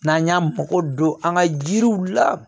N'an y'an mago don an ka jiriw la